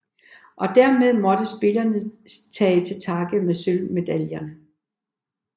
Og dermed måtte spillerne tage til takke med sølvmedaljerne